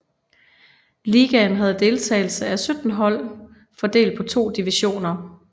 Ligaen havde deltagelse af 17 hold fordelt på to divisioner